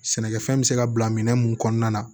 Sɛnɛkɛfɛn bɛ se ka bila minɛn mun kɔnɔna na